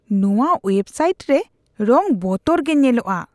ᱱᱚᱣᱟ web site ᱨᱮ ᱨᱚᱝ ᱵᱚᱛᱚᱨ ᱜᱮ ᱧᱮᱞᱚᱜᱼᱟ ᱾